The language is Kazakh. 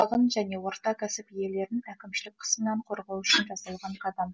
шағын және орта кәсіп иелерін әкімшілік қысымнан қорғау үшін жасалған қадам